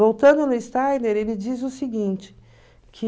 Voltando no Steiner, ele diz o seguinte, que...